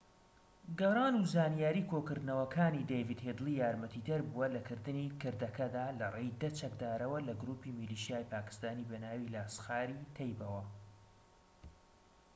گەڕان و زانیاری کۆکردنەوەکانی دەیڤد هیدلی یارمەتیدەر بووە لەکردنی کردەکەدا لەڕێی ١٠ چەکدارەوە لە گروپی میلیشیای پاکیستانی بەناوی لاسخار-ی-تەیبە